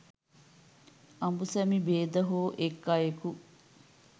අඹුසැමි භේද හෝ එක් අයෙකු